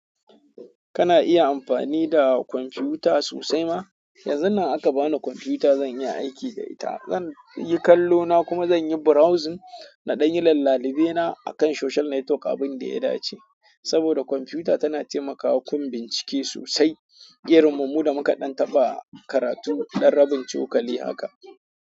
Kana iya amfani da kwamfuta sosai ma? Yanzu nan aka bani computer zan yi aiki da ita, zan yi kallo na kuma zan yi browsing na dan yi lallabune na akan social network abunda ya dace. Saboda computer tana taimakawa gun bincike sosai, irin mu mu da muka ɗan taɓa karatu dan rabin cokali haka.